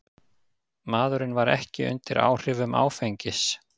Maðurinn var ekki undir áhrifum áfengis